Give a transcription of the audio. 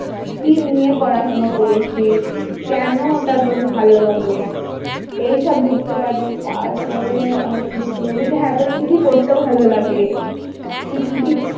কি নিয়ে পড়াশোনা করেছিস? কেন ওটা তোর ভালো লাগে এইসব লিখতে পারবি তারপরে আর কি লিখতে পারবি? হ্যাঁ তোর কি কি করতে ভালো লাগে? তুই কি কি যদি কিছু,